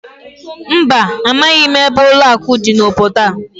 Mba, amaghị m ebe ụlọakụ dị n'obodo a